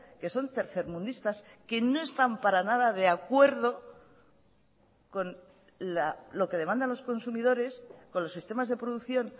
que son tercermundistas que no están para nada de acuerdo con lo que demandan los consumidores con los sistemas de producción